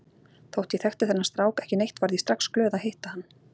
Þótt ég þekkti þennan strák ekki neitt varð ég strax glöð að hitta hann.